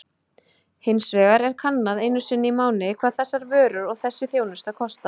Hins vegar er kannað einu sinni í mánuði hvað þessar vörur og þessi þjónusta kosta.